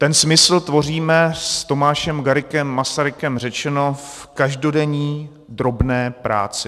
Ten smysl tvoříme, s Tomášem Garriguem Masarykem řečeno, v každodenní drobné práci.